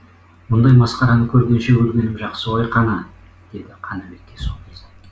мұндай масқараны көргенше өлгенім жақсы ғой қана дейді қанабекке сол кезде